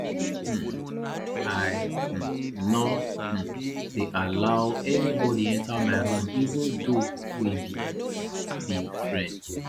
um i um no um dey allow anybody enter my room even though we be be friend